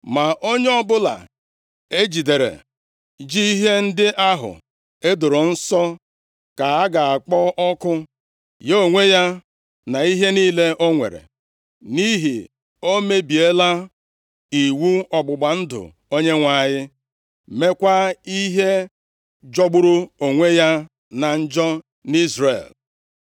Ma onye ọbụla e jidere ji ihe ndị ahụ e doro nsọ ka a ga-akpọ ọkụ, ya onwe ya, na ihe niile ọ nwere, nʼihi o mebiela iwu ọgbụgba ndụ Onyenwe anyị, meekwa ihe jọgburu onwe ya na njọ nʼIzrel.’ ”